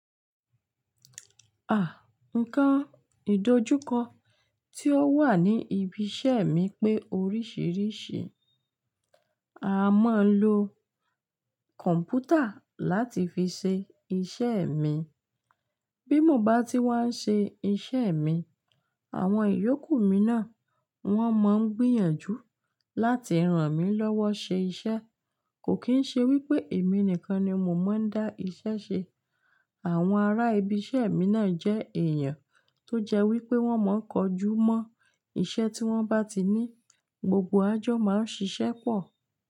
À, nǹkan ìdojúkọ tí ó wà ní ibi iṣẹ́ mi pé oríṣìíríṣìí. A máa ń lo kọ̀m̀pútà láti fi ṣe iṣẹ́ mi. Bí mo bá ti wá ń ṣe iṣẹ́ mi, àwọn ìyókù mi náà wọ́n máa ń gbìyànjú láti ràn mí lọ́wọ́ ṣe iṣẹ́. Kò kín ṣe wípé èmi nìkan ni mo máa ń dá iṣẹ́ ṣe. Àwọn ará ibi iṣẹ́ mi náà jẹ́ èèyàn tó jẹ́ wípé wọ́n máa ń kojú mọ́ iṣẹ́ tí wọ́n bá ti ní, gbogbo wà jọ máa ń ṣiṣẹ́ pọ̀.